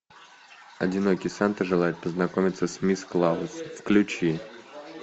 одинокий санта желает познакомиться с мисс клаус включи